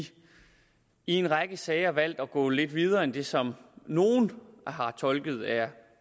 en række sager har valgt at gå lidt videre end det som nogle har tolket er